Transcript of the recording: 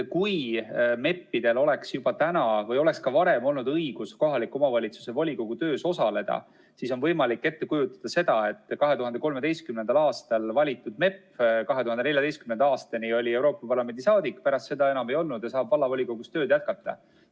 Kui MEP-idel oleks juba täna või oleks ka varem olnud õigus kohaliku omavalitsuse volikogu töös osaleda, siis on võimalik ette kujutada, et 2013. aastal valitud MEP oli 2014. aastani Euroopa Parlamendi saadik, pärast seda enam ei olnud ja saab vallavolikogus tööd jätkata.